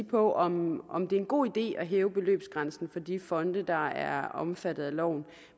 på om om det er en god idé at hæve beløbsgrænsen for de fonde der er omfattet af loven